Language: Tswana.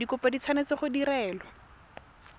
dikopo di tshwanetse go direlwa